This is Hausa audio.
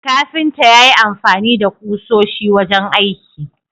Kafinta yayi amfani da kusoshi wajen aiki